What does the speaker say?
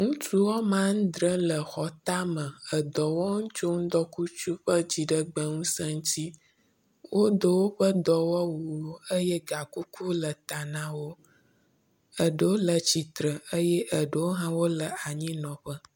Ŋutsu wɔme adre le xɔtame edɔ wɔm tso ŋdɔkutsu ƒe dziɖegbeŋuse ŋuti. Woe woƒe edɔwɔwu eye gakuku le eta na wo. Eɖewo le titre eye eɖewo hã wo le anyinɔƒe.